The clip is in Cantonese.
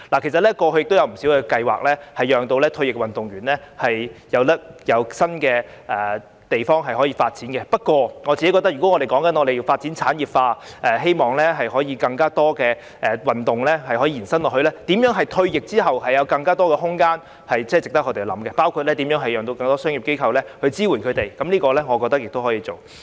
其實過去有不少計劃幫助退役運動員在其他地方發展，不過，我個人認為，如果要將體育事業產業化，並希望更多運動傳承下去，那麼如何令運動員在退役後有更多發展空間，是值得我們思考的問題，當中包括如何促使更多商業機構支援他們，我認為這點亦可以做。